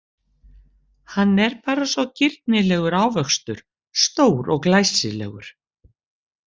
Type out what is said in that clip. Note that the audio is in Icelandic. Hann er bara svo girnilegur ávöxtur, stór og glæsilegur.